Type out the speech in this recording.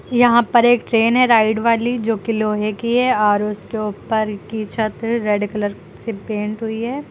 यहां पर एक ट्रेन है राइड वाली जो कि लोहे की है और उसके ऊपर की छत रेड कलर से पेंट हुई है।